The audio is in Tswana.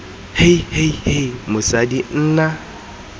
hei hei hei mosadi nna